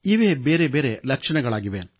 ಇವೇ ಬೇರೆ ಬೇರೆ ಲಕ್ಷಣಗಳಾಗಿವೆ